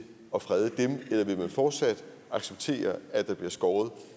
at frede dem eller vil man fortsat acceptere at der bliver skåret